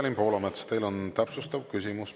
Evelin Poolamets, teil on täpsustav küsimus.